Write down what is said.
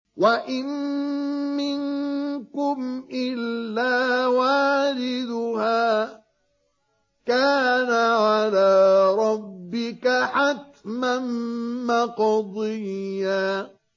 وَإِن مِّنكُمْ إِلَّا وَارِدُهَا ۚ كَانَ عَلَىٰ رَبِّكَ حَتْمًا مَّقْضِيًّا